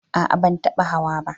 A'a ban taba hawa ba